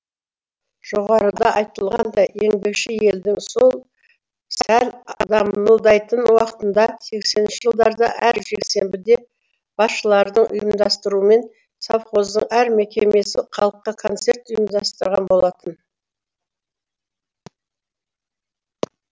жоғарыда айтылғандай еңбекші елдің сол сәл дамылдайтын уақытында сесенінші жылдарда әр жексенбіде басшылардың ұйымдастыруымен совхоздың әр мекемесі халыққа концерт ұйымдастырған болатын